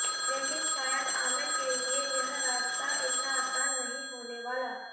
लेकिन शायद आमिर के लिए यह रास्ता इतना आसान नहीं होने वाला